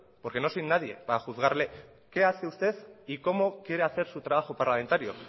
porque no soy nadie para juzgarle qué hace usted y cómo quiere hacer su trabajo parlamentario